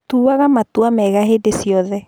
Tuaga matua mega hĩndĩ ciothe